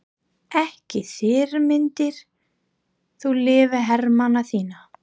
Ekki þyrmdir þú lífi hermanna þinna?